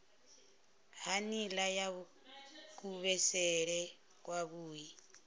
ha nila ya kuvhusele kwavhui